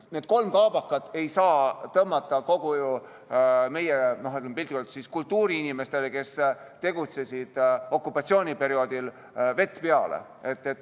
Need kolm kaabakat ei saa tõmmata kõigile meie, piltlikult öeldes, kultuuriinimestele, kes tegutsesid okupatsiooniperioodil, vett peale.